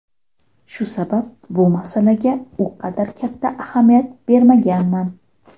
Shu sabab bu masalaga u qadar katta ahamiyat bermaganman”.